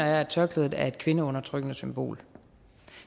jeg at tørklædet er et kvindeundertrykkende symbol